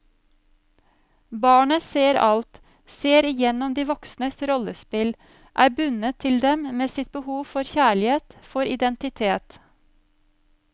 Barnet ser alt, ser igjennom de voksnes rollespill, er bundet til dem med sitt behov for kjærlighet, for identitet.